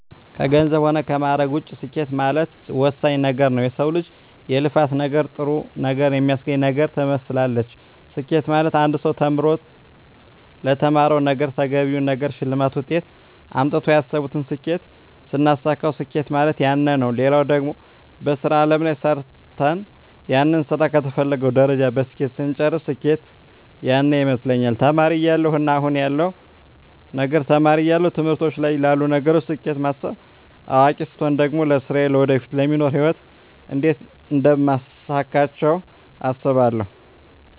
ከገንዘብ ሆነ ከማእረግ ውጭ ስኬት ማለት ወሳኝ ወሳኝ ነገረ ነዉ የሰው ልጅ የልፋት ነገር ጥሩ ነገር የሚያገኝበት ነገር ትመስላለች ስኬት ማለት አንድ ሰው ተምሮ ተምሮ ለተማረዉ ነገረ ተገቢውን ነገር ሸልማት ውጤት አምጥተው ያሰብቱን ስኬት ስናሳካዉ ስኬት ማለት ያነ ነዉ ሌላው ደግሞ በሥራ አለም ላይ ሰርተ ሰርተን ያንን ስራ ከተፈለገዉ ደረጃ በስኬት ስንጨርስ ስኬት ያነ ይመስለኛል ተማሪ እያለው እና አሁን ያለዉ ነገር ተማሪ እያለው ትምህርቶች ላይ ላሉ ነገሮች ስኬት ማስብ አዋቂ ስቾን ደግሞ ለስራየ ለወደፊቱ ለሚኖሩ ህይወት እንዴት አደምታሳካቸው አስባለሁ